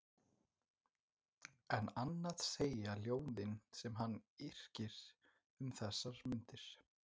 En annað segja ljóðin sem hann yrkir um þessar mundir